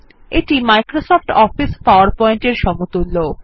এটি Microsoft Office PowerPoint এর সমতুল্য